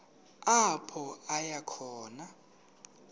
apho aya khona